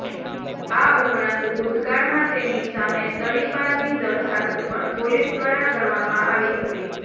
આ ઉપરાંત ભૂતકાળમાં તેની સામે તડીપારની દરખાસ્ત પણ પોલીસ દ્વારા કરવામાં આવી હતી